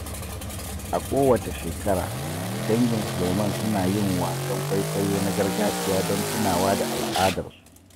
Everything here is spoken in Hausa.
A kowace shekara, dangin Suleiman suna yin wasan kwaikwayo na gargajiya don tunawa da al’adarsu.